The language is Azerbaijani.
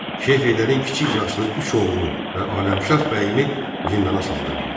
Şeyx Heydərin kiçik yaşlı üç oğlunu və Aləmşah bəyimi zindana saldırtdı.